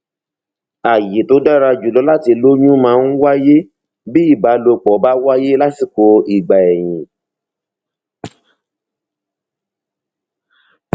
àyè tó dára jùlọ láti lóyún máa ń wáyé bí ìbálòpọ bá wáyé lásìkò ìgbà ẹyin